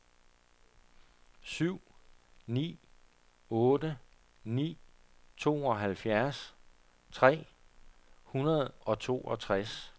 syv ni otte ni tooghalvfjerds tre hundrede og toogtres